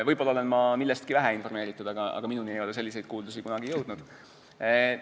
Võib-olla olen ma millestki vähe informeeritud, aga minu kõrvu ei ole selliseid kuuldusi jõudnud.